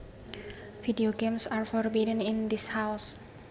Video games are forbidden in this house